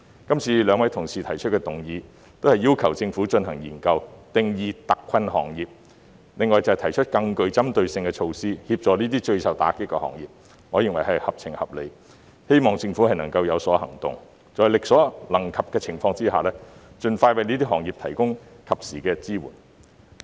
今次兩位議員動議的議案，都是要求政府進行研究，定義特困行業，另外便是提出更具針對性的措施，協助這些最受打擊的行業，我認為是合情合理的，亦希望政府有所行動，在力所可及的情況下，盡快為這些行業提供及時支援。